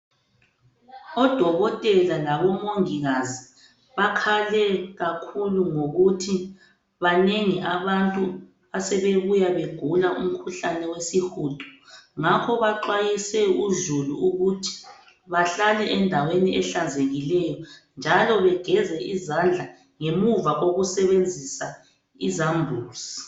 Odokotela labomongikazi bakhale kakhulu ngokuthi banengi abantu asebebuya begula umkhuhlane wesihudo. Ngakho baxwayise uzulu ukuthi bahlale endaweni ehlanzekileyo njalo bageze izandla ngemuva kokusebenzisa izambuzi.